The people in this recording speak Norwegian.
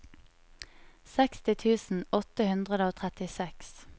seksti tusen åtte hundre og trettiseks